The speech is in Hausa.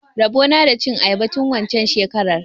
Rabo na da cin ayaba tun waccen shekarar.